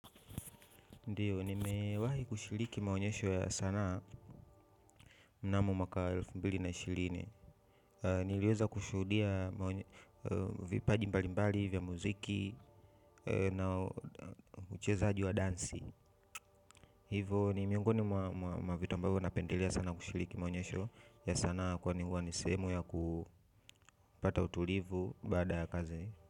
Ndiyo, nimewahi kushiriki maonyesho ya sanaa mnamo mwaka wa elfu mbili na ishirini. Niliweza kushuhudia vipaji mbali mbali, vya muziki na uchezaji wa dansi. Hivo, nimiongoni mwa vitu ambavyo napendelea sana kushiriki maonyesho ya sanaa kwani huwa nisehemu ya kupata utulivu baada ya kazi.